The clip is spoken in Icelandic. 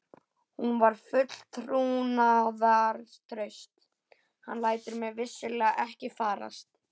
Hún var full trúnaðartrausts: hann lætur mig vissulega ekki farast.